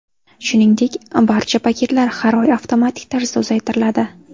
Shuningdek, b archa paketlar har oy avtomatik tarzda uzaytiriladi.